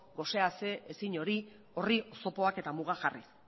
gose ase ezin horri oztopoak eta mugak jarriz